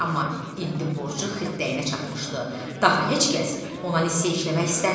Amma indi borcu xırdığına çatmışdı, daha heç kəs ona nisyə işləmək istəmirdi.